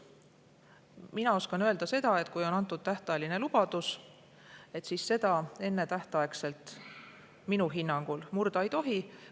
Ma oskan öelda seda, et kui on antud tähtajaline lubadus, siis seda ennetähtaegselt minu hinnangul murda ei tohi.